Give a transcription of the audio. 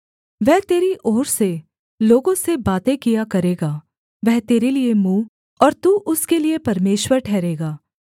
वह तेरी ओर से लोगों से बातें किया करेगा वह तेरे लिये मुँह और तू उसके लिये परमेश्वर ठहरेगा